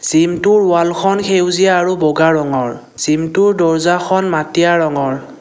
জিমটোৰ ৱালখন সেউজীয়া আৰু বগা ৰঙৰ জিমটোৰ দৰ্জাখন মাটিয়া ৰঙৰ।